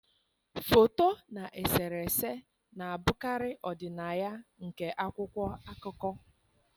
Foto na eserese na-abụkarị ọdịnaya nke akwụkwọ akụkọ.